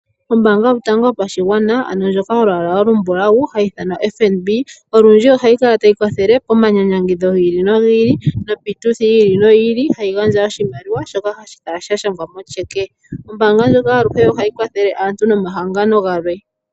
Ombaanga yotango yopashigwana, ano ndjoka yolwaala olumbulawu hayi ithanwa FNB olundji ohayi kala tayi kwathele pomanyanyangidho gi ili nogi ili nopiituthi yi ili noyi ili hayi gandja oshimaliwa shoka hashi kala sha shangwa motyeke. Ombaanga ndjoka olundji ohayi kwathele aantu nomahangano galwe.